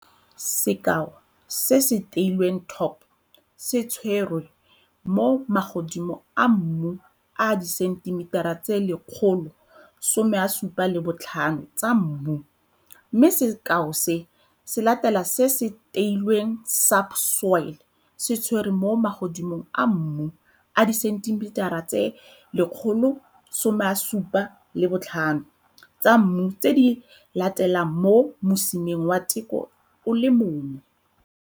Sekao se se teilweng Top se tswerwe mo magodimong a mmu a disentimetara tse 175 tsa mmu mme sekao se se latelang se se teilweng Subsoil se tserwe mo magodimong a mmu a disentimetara tse 175 tsa mmu tse di latelang mo mosimeng wa teko o le mongwe.